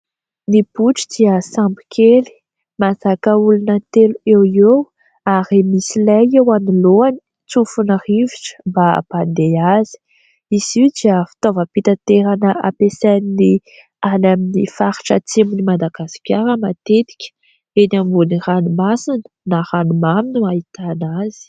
Ny botry dia sambo kely, mahazaka olona telo eo ho eo ary misy lay eo anoloany, tsofin'ny rivotra mba hampandeha azy. Izy io dia fitaovam-pitanterana ampiasain'ny any amin'ny faritra atsimon'ny Madagasikara matetika. Eny ambony ranomasina na ranomamy no ahitana azy.